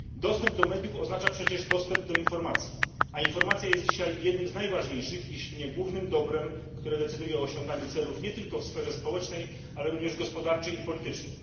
Dostęp do mediów oznacza przecież dostęp do informacji, a informacja jest dzisiaj jednym z najważniejszych, jeśli nie głównym dobrem, które decyduje o osiąganiu celów nie tylko w sferze społecznej, ale również gospodarczej i politycznej.